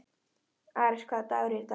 Ares, hvaða dagur er í dag?